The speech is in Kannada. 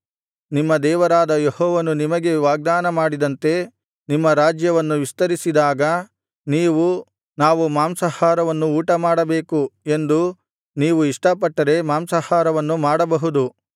ನಿಮ್ಮ ದೇವರಾದ ಯೆಹೋವನು ನಿಮಗೆ ವಾಗ್ದಾನ ಮಾಡಿದಂತೆ ನಿಮ್ಮ ರಾಜ್ಯವನ್ನು ವಿಸ್ತರಿಸಿದಾಗ ನೀವು ನಾವು ಮಾಂಸಾಹಾರವನ್ನು ಊಟಮಾಡಬೇಕು ಎಂದು ನೀವು ಇಷ್ಟಪಟ್ಟರೆ ಮಾಂಸಾಹಾರವನ್ನು ಮಾಡಬಹುದು